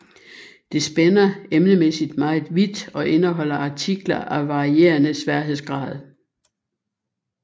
Det spænder emnemæssigt meget vidt og indeholder artikler af varierende sværhedsgrad